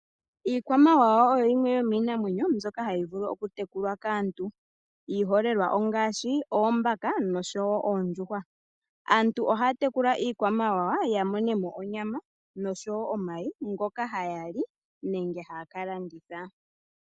Iikwamawawa oyo yimwe yomiinamwenyo mbyoka hayi vulu okutekulwa kaantu. Iiholelwa ongaashi oombaka nosho wo oondjuhwa. Aantu ohaya tekula iikwamawawa ya mone mo onyama nosho wo omayi ngoka haya li nenge haya ka landitha.